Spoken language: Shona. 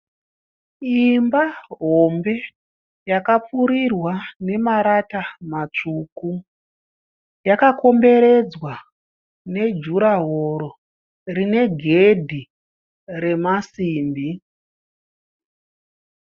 Imba hombe yakapfuurirwa nemarata matsvuku. Yakakomberedzwa nejuraworo rine gedhi remasimbi.